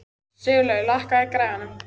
Sigurlaugur, lækkaðu í græjunum.